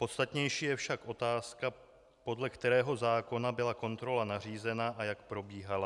Podstatnější je však otázka, podle kterého zákona byla kontrola nařízena a jak probíhala.